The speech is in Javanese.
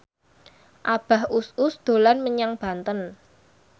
Abah Us Us dolan menyang Banten